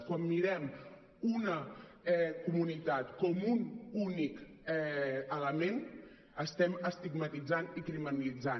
quan mirem una comunitat com un únic element estem estigmatitzant i criminalitzant